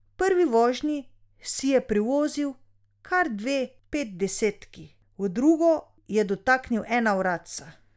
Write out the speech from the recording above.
V prvi vožnji si je privozil kar dve petdesetki, v drugo je dotaknil ena vratca.